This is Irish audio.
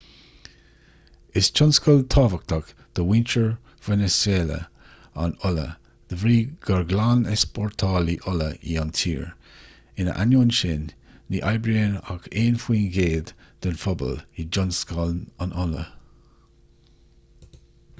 is tionscal tábhachtach do mhuintir veiniséala an ola de bhrí gur glan-easpórtálaí ola í an tír ina ainneoin sin ní oibríonn ach aon faoin gcéad den phobal i dtionscal an ola